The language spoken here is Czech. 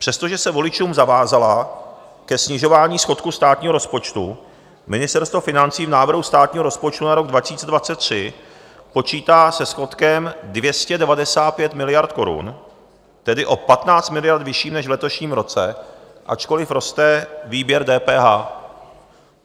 Přestože se voličům zavázala ke snižování schodku státního rozpočtu, Ministerstvo financí v návrhu státního rozpočtu na rok 2023 počítá se schodkem 295 miliard korun, tedy o 15 miliard vyšším než v letošním roce, ačkoliv roste výběr DPH.